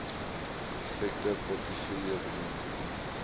effekte portefeulje benoem